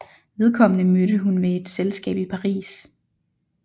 Vedkommende mødte hun ved et selskab i Paris